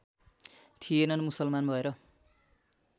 थिएनन् मुसलमान भएर